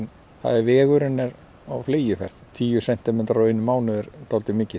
vegurinn er á fleygiferð tíu sentimetrar á einum mánuði er dálítið mikið